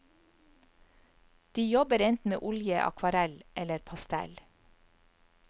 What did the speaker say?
De jobber enten med olje, akvarell eller pastell.